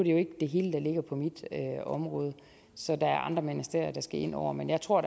jo ikke det hele der ligger på mit område så der er andre ministerier der skal ind over men jeg tror